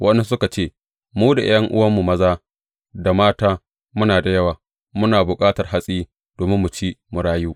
Waɗansu suka ce, Mu da ’ya’yanmu maza da mata muna da yawa, muna bukatar hatsi domin mu ci mu rayu.